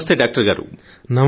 నమస్తే డాక్టర్ గారు